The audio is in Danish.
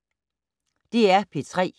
DR P3